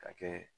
Ka kɛ